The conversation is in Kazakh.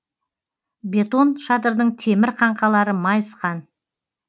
бетон шатырдың темір қаңқалары майысқан